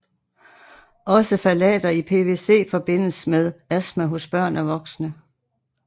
Også phtalater i PVCforbindes med astma hos børn og voksne